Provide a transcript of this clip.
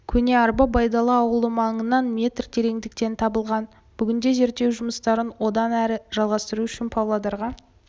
көне арба байдала ауылы маңынан метр тереңдіктен табылған бүгінде зерттеу жұмыстарын одан әрі жалғастыру үшін павлодарға